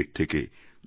এর থেকে